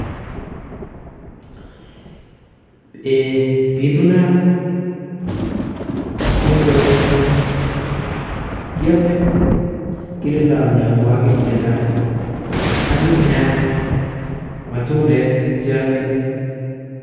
Eeii bitunat en korenyun kiome kirindoi mionwokik chechang, anyiny nea matundek cheonyiny.